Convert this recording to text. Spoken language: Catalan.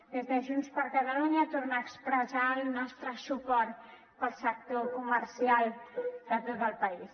des de junts per catalunya tornar a expressar el nostre suport per al sector comercial de tot el país